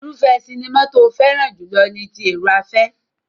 Irúfẹ́ sinimá tó fẹ́ràn jùlọ ni ti èrò-afẹ́.